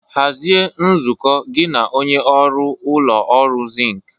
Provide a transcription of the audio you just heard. Hazie nzukọ gị na onye ọrụ ụlọ ọrụ zinc.